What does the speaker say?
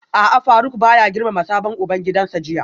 A'a Faruk baya girmama sabon ubangidansa jiya